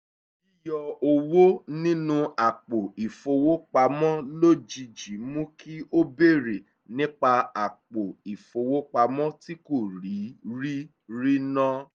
yíyọ owó nínú àpò ìfowópamọ́ lójijì mú kí ó béèrè nípa àpò ìfowópamọ́ tí kò tíì rí rí náà